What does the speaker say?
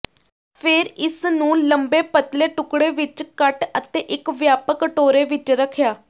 ਫਿਰ ਇਸ ਨੂੰ ਲੰਬੇ ਪਤਲੇ ਟੁਕੜੇ ਵਿੱਚ ਕੱਟ ਅਤੇ ਇੱਕ ਵਿਆਪਕ ਕਟੋਰੇ ਵਿੱਚ ਰੱਖਿਆ